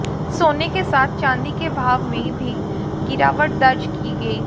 सोने के साथ चांदी के भाव में भी गिरावट दर्ज की गई